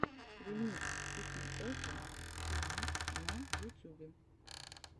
ремикс пикейэфа тиви на ютюбе